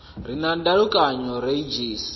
re na ndalukanyo o redzhisi